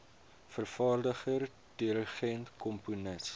vervaardiger dirigent komponis